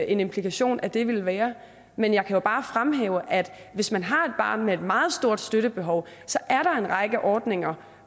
en implikation af det vil være men jeg kan bare fremhæve at hvis man har et barn med et meget stort støttebehov så er der en række ordninger